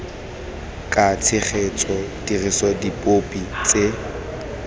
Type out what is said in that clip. ka tshegetso dirisa dipopi tse